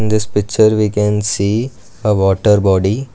this picture we can see a water body.